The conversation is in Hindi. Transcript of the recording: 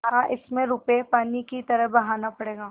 हाँ इसमें रुपये पानी की तरह बहाना पड़ेगा